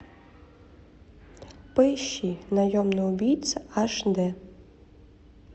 поищи наемный убийца аш де